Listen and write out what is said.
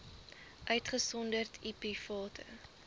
uitgesonderd u private